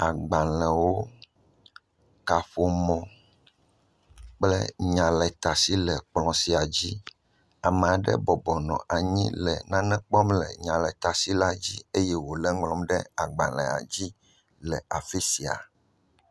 Agbalẽwo, kaƒomɔ kple nyaletashi le ekplɔ̃ sia dzi. Ame aɖe bɔbɔ nɔ anyi le nane kpɔm le nyaletasila dzi eye wòle eŋlɔm ɖe agbalẽa dzi le afi sia.